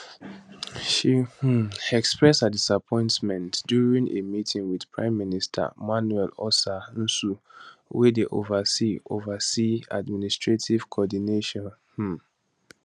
she um express her disappointment during a meeting wit prime minister manuel osa nsue wey dey oversee oversee administrative coordination um